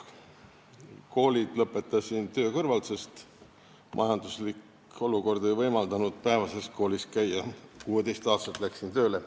Koolid lõpetasin töö kõrvalt, sest majanduslik olukord ei võimaldanud päevases koolis käia, 16-aastaselt läksin tööle.